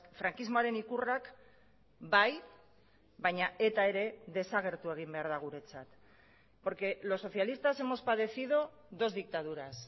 frankismoaren ikurrak bai baina eta ere desagertu egin behar da guretzat porque los socialistas hemos padecido dos dictaduras